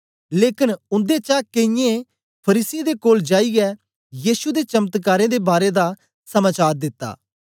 लेकन उन्देचा केईयें फरीसियें दे कोल जाईयै यीशु दे चमत्कारें दे बारै दा समाचार दिता